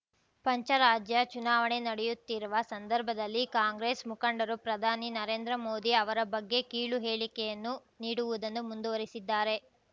ಪಂಚರಾಜ್ಯ ಚುನಾವಣೆ ನಡೆಯುತ್ತಿರುವ ಸಂದರ್ಭದಲ್ಲಿ ಕಾಂಗ್ರೆಸ್‌ ಮುಖಂಡರು ಪ್ರಧಾನಿ ನರೇಂದ್ರ ಮೋದಿ ಅವರ ಬಗ್ಗೆ ಕೀಳು ಹೇಳಿಕೆಯನ್ನು ನೀಡುವುದನ್ನು ಮುಂದುವರಿಸಿದ್ದಾರೆ